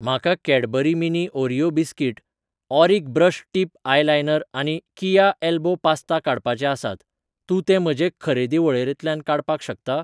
म्हाका Cadbury mini Oreo biscuit, Auric brush tip eyeliner आनी किया एल्बो पास्ता काडपाचे आसात, तूं ते म्हजे खरेदी वळेरेंतल्यान काडपाक शकता?